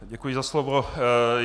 Děkuji za slovo.